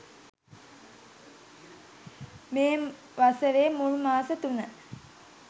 මේ වසරේ මුල් මාස තුන